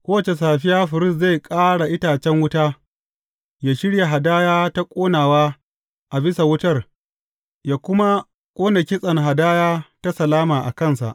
Kowace safiya firist zai ƙara itacen wuta, yă shirya hadaya ta ƙonawa a bisa wutar yă kuma ƙone kitsen hadaya ta salama a kansa.